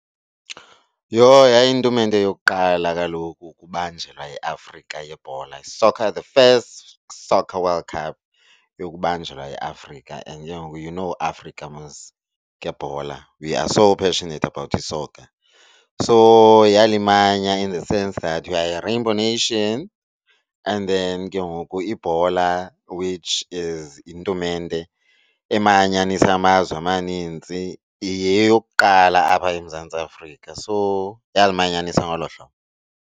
Yho yayiyintumente yokuqala kaloku ukubanjelwa eAfrika yebhola, soccer the first soccer world cup yokubanjelwa eAfrika and ke ngoku you know Africa mos ngebhola we are so passionate about i-soccer. So yalimanya in the sense that we are a rainbow nation and then ke ngoku ibhola which is intumente emanyanisa amazwe amaninzi yeyokuqala apha eMzantsi Afrika, so yalimanyanisa ngolo hlobo.